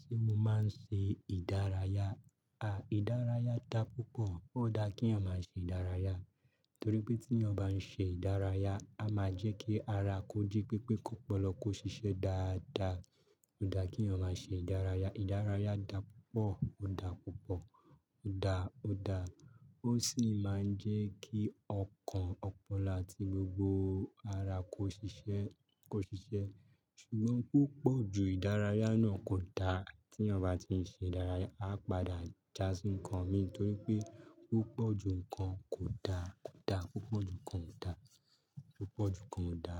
Ṣé mo máa ń ṣe ìdárayá? À, ìdárayá da púpọ̀. Ó da kí èèyàn máa ṣe ìdárayá torí pé tí èèyàn bá ń ṣe ìdárayá, a máa jẹ́ kí ara kó jí pépé kó pọ̀lọ̀ kó ṣiṣẹ́ dáa dáa. Ó da kí èèyàn máa ṣe ìdárayá. Ìdárayá da púpọ̀, ó da púpọ̀, ó da, ó da. Ó sì máa ń jẹ́ kí ọkàn, ọpọlọ àti gbogbo ara kó ṣiṣẹ́, kó ṣiṣẹ́. Ṣùgbọ́n púpọ̀ ju ìdárayá náà kò da. Tí èèyàn bá ti ń ṣe ìdárayá, a padà jà sí nǹkan mi torí pé púpọ̀ ju nǹkan kò da, kò da. Púpọ̀ ju nǹkan kò da. Púpọ̀ ju nǹkan kò da.